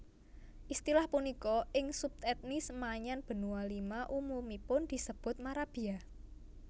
Istilah punika ing subetnis Maanyan Benua Lima umumipun dipunsebut marabia